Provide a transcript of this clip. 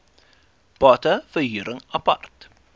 bate verhuring apart